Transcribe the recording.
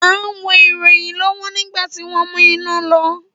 À ń wo ìròyìn lọ́wọ́ nígbà tí wọn mú iná lọ